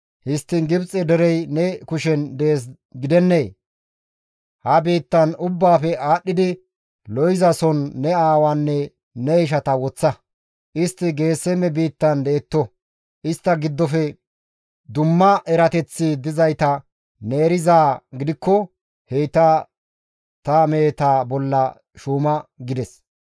Histtiin Gibxe derey ne kushen dees gidennee; ha biittan ubbaafe aadhdhidi lo7izason ne aawaanne ne ishata woththa; istti Geeseme biittan detto. Istta giddofe dumma erateththi dizayta ne erizaa gidikko heyta ta meheta bolla shuuma» gides.